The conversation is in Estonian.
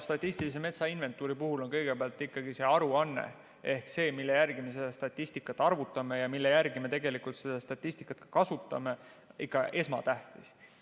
Statistilise metsainventuuri puhul on kõigepealt ikkagi see aruanne ehk see, mille järgi me seda statistikat arvutame ja mille järgi me seda statistikat kasutame, ikka esmatähtis.